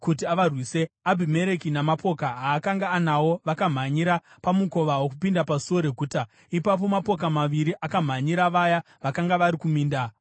Abhimereki namapoka aakanga anawo vakamhanyira pamukova wokupinda pasuo reguta. Ipapo mapoka maviri akamhanyira vaya vakanga vari kuminda vakavauraya.